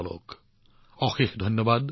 নমস্কাৰ আপোনালোকলৈ অশেষ ধন্যবাদ